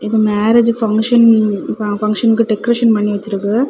இது marriage function ஃபங்ஷனுக்கு decoration பண்ணி வச்சிருக்குது.